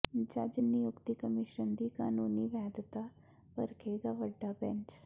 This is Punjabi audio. ਜੱਜ ਨਿਯੁਕਤੀ ਕਮਿਸ਼ਨ ਦੀ ਕਾਨੂੰਨੀ ਵੈਧਤਾ ਪਰਖੇਗਾ ਵੱਡਾ ਬੈਂਚ